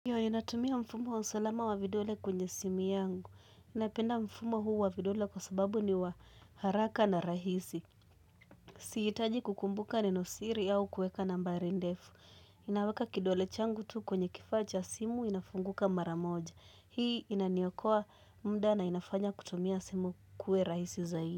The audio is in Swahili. Haya ninatumia mfumo wa usalama wa vidole kwenye simu yangu. Napenda mfumo huu wa vidole kwa sababu ni wa haraka na rahisi. Sihitaji kukumbuka neno siri au kueka nambari ndefu. Naweka kidole changu tu kwenye kifaa cha simu inafunguka mara moja. Hii inaniokoa mda na inafanya kutumia simu kuwe rahisi zaidi.